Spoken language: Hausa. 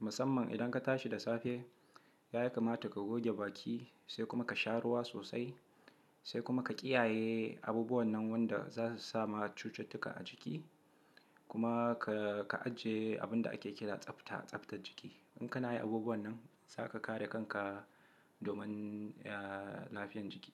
musamman idan ka tashi da safe, ya kamata ka goge baki, sai kuma ka sha ruwa sosai, sai kuma ka kiyaye abubuwan nan wanda za su sama cututtuka a jiki. Kuma ka, ka ajiye abin da ake kira tsafta, tsaftar jiki. In kana yin abubuwan nan zaka kare kanka domin, eh, lafiyan jiki.